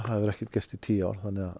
hefur ekkert gerst í tíu ár